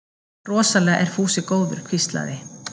Rosalega er Fúsi góður hvíslaði